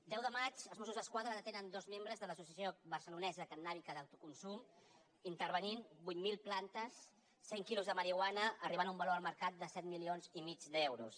deu de maig els mossos d’esquadra detenen dos membres de l’associació barcelonesa cannàbica d’autoconsum i intervenen vuit mil plantes cent quilos de marihuana que arribaven a un valor de mercat de set milions i mig d’euros